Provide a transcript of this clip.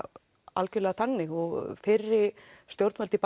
algerlega þannig og fyrri stjórnvöld í